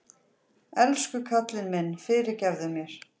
Elsku kallinn minn, fyrirgefðu mér